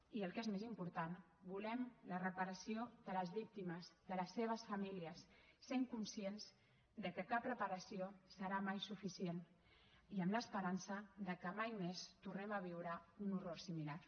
i el que és més important volem la reparació de les víctimes de les seves famílies sent conscients que cap reparació serà mai suficient i amb l’esperança que mai més tornem a viure un horror similar